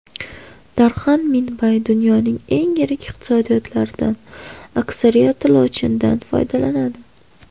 Darxan Minbay: Dunyoning eng yirik iqtisodiyotlaridan aksariyati lotinchadan foydalanadi.